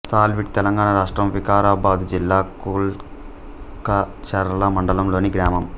సాల్వీడ్ తెలంగాణ రాష్ట్రం వికారాబాదు జిల్లా కుల్కచర్ల మండలంలోని గ్రామం